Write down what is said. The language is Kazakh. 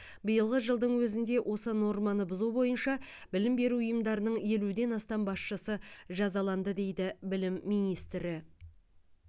биылғы жылдың өзінде осы норманы бұзу бойынша білім беру ұйымдарының елуден астам басшысы жазаланды дейді білім министрі